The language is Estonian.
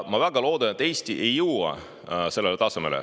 Ma väga loodan, et Eesti ei jõua sellele tasemele.